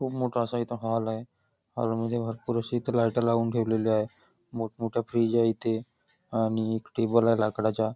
खूप मोठा असा हॉल आहे हॉल मध्ये भरपूर अशे लाईट लावून ठेवलेले आहे मोठमोठा फ्रिज आहे इथे आणि टेबल आहे लाकडाचा.